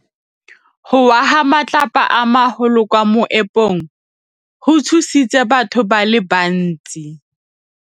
Go wa ga matlapa a magolo ko moepong go tshositse batho ba le bantsi.